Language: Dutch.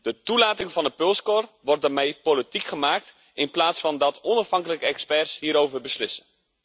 De toelating van de pulskor wordt daarmee politiek gemaakt, in plaats van dat onafhankelijke experts hierover beslissen.